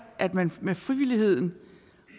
at man med frivilligheden